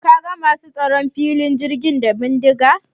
Ka ga masu tsaron filin jirgin da bindiga?